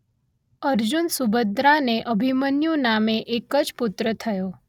અર્જુન સુભદ્રાને અભિમન્યુ નામે એક જ પુત્ર થયો